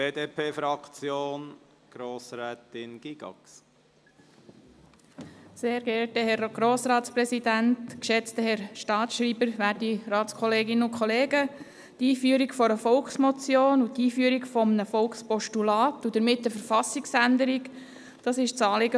Das Anliegen der Motionärin lautet, eine Volksmotion und ein Volkspostulat einzuführen und damit eine Verfassungsänderung auszulösen.